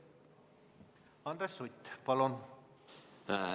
Andres Sutt, palun!